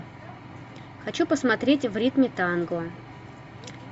хочу посмотреть в ритме танго